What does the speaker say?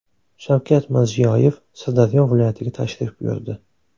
Shavkat Mirziyoyev Sirdaryo viloyatiga tashrif buyurdi.